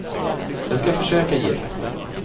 Jag skall försöka ge ett vettigt svar.